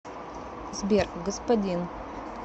сбер господин